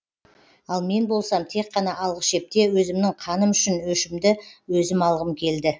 ал мен болсам тек қана алғы шепте өзімнің қаным үшін өшімді өзім алғым келді